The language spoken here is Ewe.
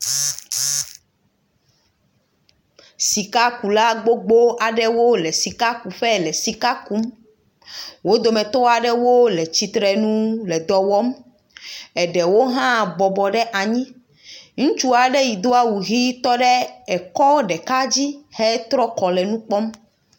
Sikakula gbogbo aɖewo le sikakuƒe le sika kum. Wo dometɔ aɖewo le tsitre nu le dɔ wɔm eɖewo hã bɔbɔ ɖe anyi. Ŋutsu aɖe yi do awu ʋi tɔ ɖe ekɔ ɖeka dzi hetrɔ kɔ le nu kpɔm.